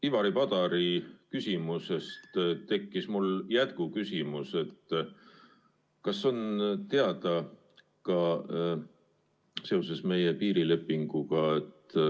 Ivari Padari küsimuse peale tekkis mul jätkuküsimus seoses meie piirilepinguga.